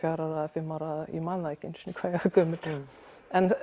fimm ára ég man ekki einu sinni hvað ég var gömul en